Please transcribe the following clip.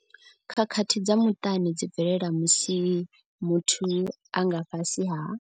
Khakhathi dza muṱani dzi bvelela musi muthu a nga fhasi ha.